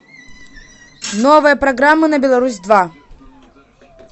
новая программа на беларусь два